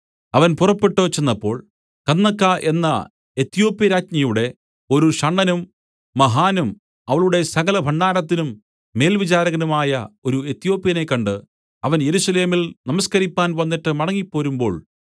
അവൻ പുറപ്പെട്ടു ചെന്നപ്പോൾ കന്ദക്ക എന്ന എത്യോപ്യാരാജ്ഞിയുടെ ഒരു ഷണ്ഡനും മഹാനും അവളുടെ സകലഭണ്ഡാരത്തിനും മേൽവിചാരകനുമായ ഒരു എത്യോപ്യനെ കണ്ട് അവൻ യെരൂശലേമിൽ നമസ്കരിപ്പാൻ വന്നിട്ട് മടങ്ങിപ്പോരുമ്പോൾ